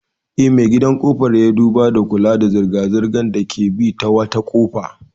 Eh, me gadin ƙofar ya duba da kula da zirga-zirgar da ke bi ta wata kofa.